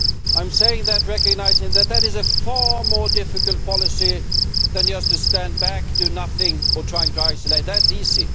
I say that, recognising that that is a far more difficult policy than just to stand back, do nothing or try to isolate that is easy